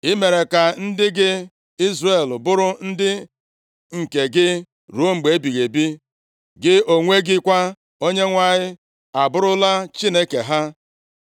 I mere ka ndị gị Izrel bụrụ ndị nke gị ruo mgbe ebighị ebi. Gị onwe gị kwa, Onyenwe anyị, abụrụla Chineke ha.